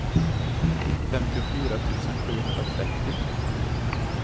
femtiofyra tusen sjuhundratrettio